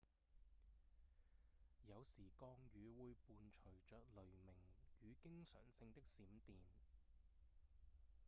有時降雨會伴隨著雷鳴與經常性的閃電